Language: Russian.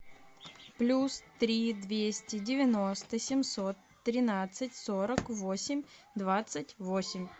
плюс три двести девяносто семьсот тринадцать сорок восемь двадцать восемь